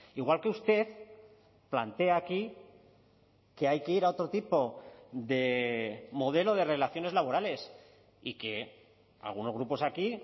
igual que usted plantea aquí que hay que ir a otro tipo de modelo de relaciones laborales y que algunos grupos aquí